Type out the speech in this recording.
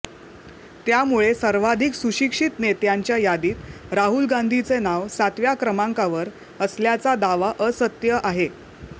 त्यामुळे सर्वाधिक सुशिक्षित नेत्यांच्या यादीत राहुल गांधीचे नाव सातव्या क्रमांकावर असल्याचा दावा असत्य आहे